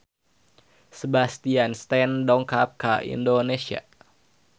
Sebastian Stan dongkap ka Indonesia